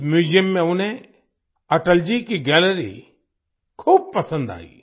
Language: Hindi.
इस म्यूजियम में उन्हें अटल जी की गैलरी खूब पसंद आई